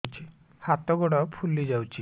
ହାତ ଗୋଡ଼ ଫୁଲି ଯାଉଛି